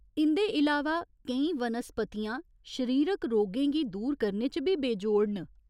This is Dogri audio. इं'दे इलावा केईं वनस्पतियां शरीरक रोगें गी दूर करने च बी बेजोड़ न।